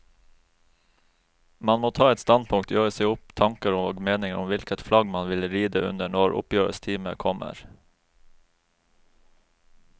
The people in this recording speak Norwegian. Man må ta et standpunkt, gjøre seg opp tanker og meninger om hvilket flagg man vil ride under når oppgjørets time kommer.